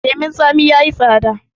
leman tsami ya yi tsada